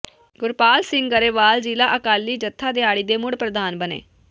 ਗੁਰਪਾਲ ਸਿੰਘ ਗਰੇਵਾਲ ਜ਼ਿਲ੍ਹਾ ਅਕਾਲੀ ਜਥਾ ਦਿਹਾਤੀ ਦੇ ਮੁੜ ਪ੍ਰਧਾਨ ਬਣੇ